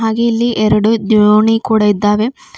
ಹಾಗೆ ಇಲ್ಲಿ ಎರಡು ದೋಣಿ ಕೂಡ ಇದ್ದಾವೆ.